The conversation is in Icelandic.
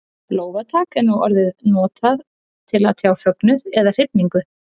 Lófatak er nú orðið notað til að tjá fögnuð eða hrifningu.